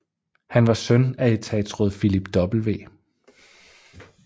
Han var søn af etatsråd Philip W